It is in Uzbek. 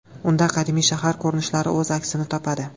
Unda qadimiy shahar ko‘rinishlari o‘z aksini topadi.